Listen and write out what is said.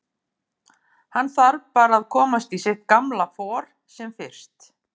Hann þarf bara að komast í sitt gamla for sem fyrst.